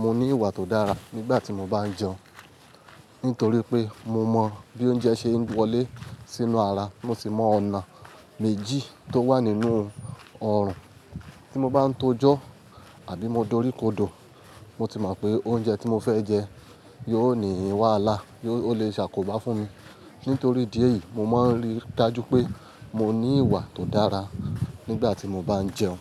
mo ní ìwà tó dára nígbà tí mo bá ń jẹun, nítorí pé mo mọ bí oúnjẹ ṣe ń wọlé sínú ara. Mo sì mọ ọ̀nà méjì tó wà nínú ọrùn. Tí mo bá ń tojó àbí mo doríkodò, mo ti mọ̀ pé oúnjẹ tí mo fẹ́ jẹ yóò ní ìwàlá, ó lè ṣàkóbá fún mi. Nítorí díẹ̀ yìí, mo má ń rí i dájú pé mo ní ìwà tó dára nígbà tí mo bá ń jẹun.